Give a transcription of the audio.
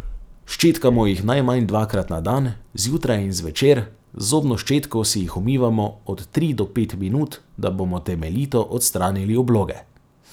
Ščetkamo jih najmanj dvakrat na dan, zjutraj in zvečer, z zobno ščetko si jih umivamo od tri do pet minut, da bomo temeljito odstranili obloge.